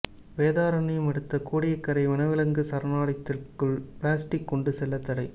வேதாரண்யம் அடுத்த கோடியக்கரை வனவிலங்கு சரணாலயத்திற்குள் பிளாஸ்டிக் கொண்டு செல்ல தடை